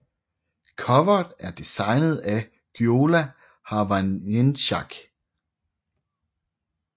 Coveret er designet af Gyula Havancsák